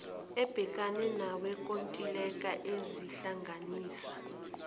ebhekene nowenkontileka izohlanganisa